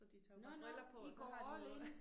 Så de tager jo bare briller på og så har de noget